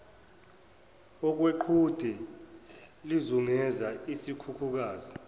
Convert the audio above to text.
okweqhude lizungeza isikhukukazi